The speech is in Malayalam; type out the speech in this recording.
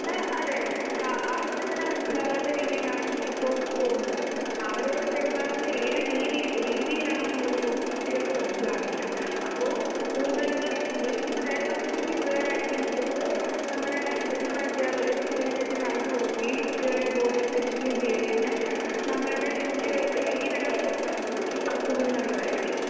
അതേ അതേ ആളുകളെ തന്നെ മനസിലാകാത്ത രീതിയിൽ ആണ് എപ്പോൾ പോകുന്നത് അവരോട് പെരുമാറുന്നത് ഏതു രീതിയിലാണ് എന്നുള്ളത് പോലും കുട്ടികൾക്ക് മനസ്സിലാവുന്നില്ല. അപ്പോൾസ്കൂൾ തലങ്ങളിൽ മുതൽ അതായത് നമ്മൾ കുഞ്ഞു പിള്ളേർ ആയിരിക്കുമ്പോൾ തൊട്ട് നമ്മുടെ നമ്മുടെ അദ്ധ്യാപകർ ഇതിനെപ്പറ്റി പറഞ്ഞുകൊടുക്കുകയും കുട്ടികളെ ബോധവൽക്കരിക്കുകയും ചെയ്തു കഴിഞ്ഞാൽ നമ്മുടെ കുട്ടികൾക്ക് ഇനി വരാൻ പോകുന്ന തലമുറയ്ക്ക് കുറച്ചുകൂടി നല്ലതായിരിക്കും .